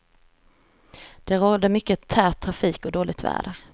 Det rådde mycket tät trafik och dåligt väder.